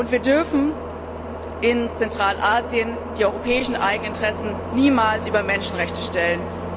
Wir dürfen in Zentralasien die europäischen Eigeninteressen niemals über Menschenrechte stellen.